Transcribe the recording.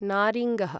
नारिङ्गः